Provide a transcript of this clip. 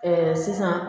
sisan